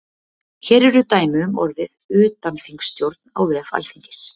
Hér eru dæmi um orðið utanþingsstjórn á vef alþingis.